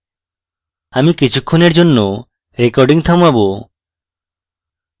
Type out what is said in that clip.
আমি কিছুক্ষনের জন্য recording থামাবো